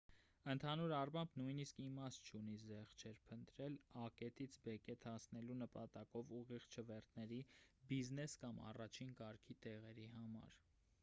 ընդհանուր առմամբ նույնիսկ իմաստ չունի զեղչեր փնտրել ա կետից բ կետ հասնելու նպատակով ուղիղ չվերթների բիզնես կամ առաջին կարգի տեղերի համար